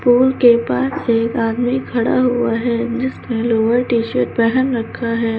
Pool के पास एक आदमी खड़ा हुआ है जिसने लोअर टी शर्ट पहन रखा है।